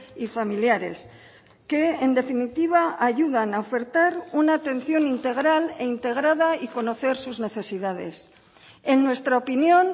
y familiares que en definitiva ayudan a ofertar una atención integral e integrada y conocer sus necesidades en nuestra opinión